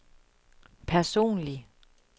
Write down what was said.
personlig